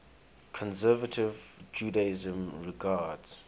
conservative judaism regards